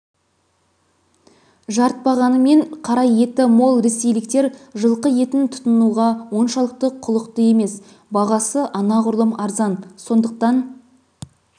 жарытпағанымен қара еті мол ресейліктер жылқы етін тұтынуға оншалықты құлықты емес бағасы анағұрлым арзан сондықтан